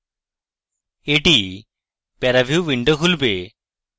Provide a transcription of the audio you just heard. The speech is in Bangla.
এটি প্যারাভিউ উইন্ডো খুলবে